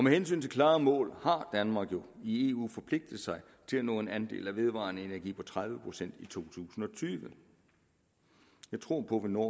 hensyn til klare mål har danmark i eu jo forpligtet sig til at nå en andel af vedvarende energi på tredive procent i to tusind og tyve jeg tror på vi når